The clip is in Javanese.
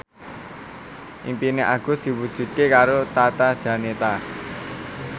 impine Agus diwujudke karo Tata Janeta